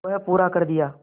वह पूरा कर दिया